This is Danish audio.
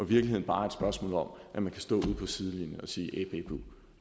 virkeligheden bare et spørgsmål om at man kan stå ud på sidelinjen og sige æh bæh buh